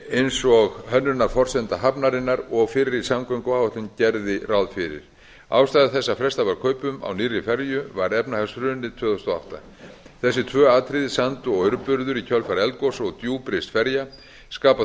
eins og hönnunarforsenda hafnarinnar og fyrri samgönguáætlun gerði ráð fyrir ástæða þess að fresta varð kaupum á nýrri ferju var efnahagshrunið tvö þúsund og átta þessi tvö atriði sand og aurburður í kjölfar eldgoss og djúprist ferja skapa